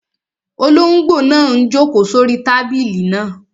Olóngbò náà n jòkó sórí tábìlì náà